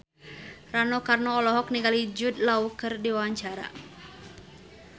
Rano Karno olohok ningali Jude Law keur diwawancara